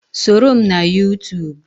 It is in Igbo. Soro m na Yuutuub.